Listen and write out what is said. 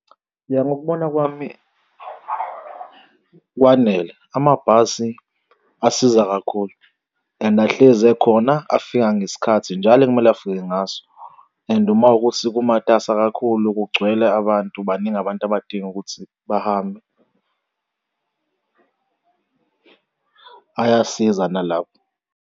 Mina ngokubona kwami, kwanele amabhasi asiza kakhulu and ahlezi ekhona afika ngesikhathi njalo ekumele afike ngaso and uma ukuthi kumatasa kakhulu kugcwele abantu baningi abantu abadinga ukuthi bahambe ayasiza nalapho.